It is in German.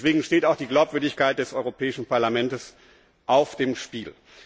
Deswegen steht auch die Glaubwürdigkeit des Europäischen Parlaments auf dem Spiel.